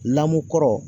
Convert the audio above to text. Lamu kɔrɔ